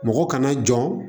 Mɔgɔ kana jɔ